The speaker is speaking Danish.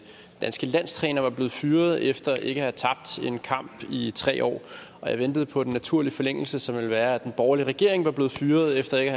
danske landstræner var blevet fyret efter ikke at have tabt en kamp i tre år jeg ventede på den naturlige forlængelse som ville være at den borgerlige regering var blevet fyret efter ikke